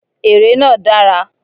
Èrè náà dára.